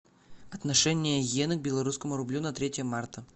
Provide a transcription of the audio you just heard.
отношение йены к белорусскому рублю на третье марта